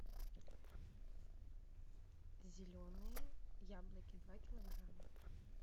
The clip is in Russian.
зеленые яблоки два килограмма